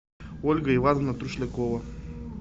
ольга ивановна тушлякова